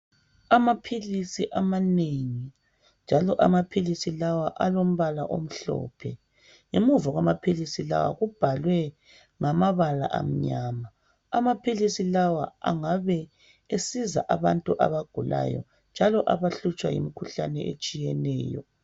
Amaphilisi amanengi njalo amaphilisi lawa alombala omhlophe. Ngemuva kwamaphilisi lawa kubhalwe ngamabala amnyama .Amaphilisi lawa angabe esiza abantu abagulayo njalo abahlutshwa yimikhuhlane etshiyeneyo.